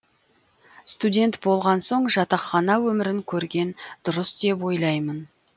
студент болған соң жатақхана өмірін көрген дұрыс деп ойлаймын